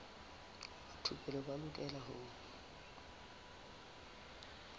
ba thupelo ba lokela ho